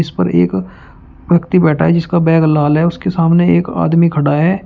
इस पर एक व्यक्ति बैठा है इसका बैग लाल है उसके सामने एक आदमी खड़ा है।